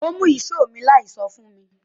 Ó mú ìṣó mi láì sọ fún mi